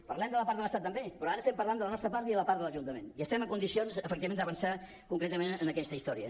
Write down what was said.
parlem de la part de l’estat també però ara estem parlant de la nostra part i de la part de l’ajuntament i estem en condicions efectivament d’avançar concretament en aquesta història